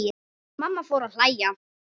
Mamma fór að hlæja.